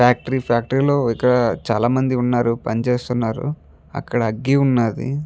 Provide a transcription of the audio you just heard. Factory factory లో ఇక్కడ చాల మంది వున్నారు పని చేస్తున్నారు అక్కడ అగ్గి ఉన్నది.